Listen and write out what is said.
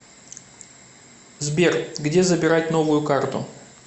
сбер где забирать новую карту